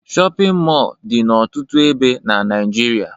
Shọpịn mọọ dị n'ọtụtụ ebe na Naịjirịa